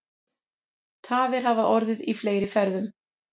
Tafir hafa orðið í fleiri ferðum